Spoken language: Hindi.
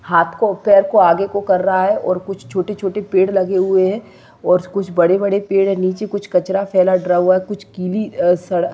हाथ को पैर को आगे को कर रहा है और कुछ छोटे छोटे पेड़ लगे हुए है और कुछ बड़े बड़े पेड़ है नीचे कुछ कचरा फैला ड्रा हुआ है कुछ कीली सड़--